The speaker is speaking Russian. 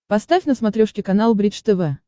поставь на смотрешке канал бридж тв